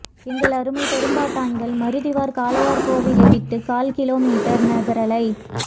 எங்கள் அருமை பெரும்பாட்டன்கள் மருதிருவர் காளையார்கோவிலை விட்டு கால் கிலோ மீட்டர் நகரலை